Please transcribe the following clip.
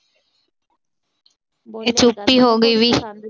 ਹੋ ਗਈ ਵੀ।